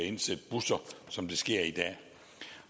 at indsætte busser som det sker i dag